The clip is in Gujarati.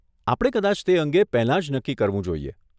આપણે કદાચ તેને અંગે પહેલાં જ નક્કી કરવું જોઈએ.